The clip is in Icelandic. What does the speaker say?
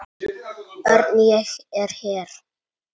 Örn, ég er hér